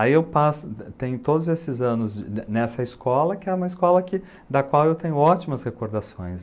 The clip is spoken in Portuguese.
Aí eu passo, tenho todos esses anos nessa escola, que é uma escola da qual eu tenho ótimas recordações.